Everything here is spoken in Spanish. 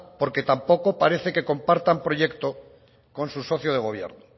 porque tampoco parece que compartan proyecto con su socio de gobierno